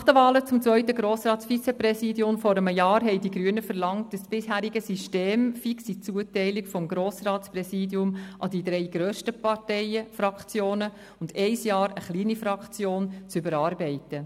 Nach den Wahlen zum zweiten Grossratsvizepräsidium vor einem Jahr verlangten die Grünen, das bisherige System mit fixen Zuteilungen des Grossratspräsidiums an die drei grössten Fraktionen und ein Jahr an eine kleine Fraktion, zu überarbeiten.